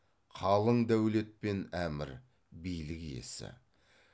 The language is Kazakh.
қалың дәулет пен әмір билік иесі